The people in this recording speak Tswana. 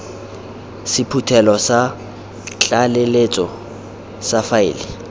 sephuthelo sa tlaleletso sa faele